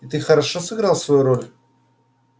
и ты хорошо сыграл свою роль